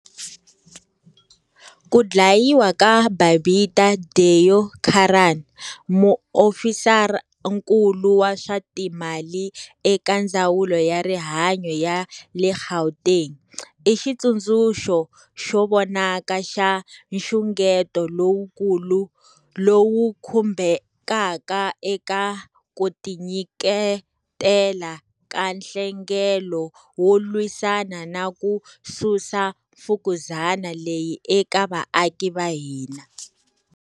Ku dlayiwa ka Babita Deokaran, Muofisarankulu wa swa timali eka Ndzawulo ya Rihanyo ya le Gauteng, i xitsundzuxo xo vonaka xa nxungeto lowukulu lowu khumbekaka eka ku tinyiketela ka nhlengelo wo lwisana na ku susa mfukuzani leyi eka vaaki va hina.